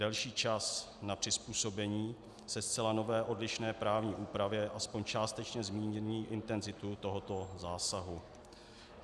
Delší čas na přizpůsobení se zcela nové odlišné právní úpravě aspoň částečně zmírní intenzitu tohoto zásahu.